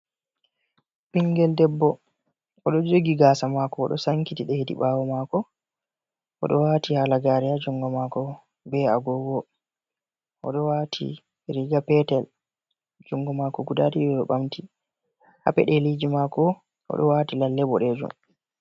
Ɓingel debbo oɗo joogi gasa mako oɗo sankiti ɗe hedi ɓawo maako. Oɗo wati halagare ha juungo mako be agogo. Oɗo wati riga petel jungo maako guda ɗiɗi ɗo ɓamti. Ha peɗeliji mako oɗo wati lalle boɗejum.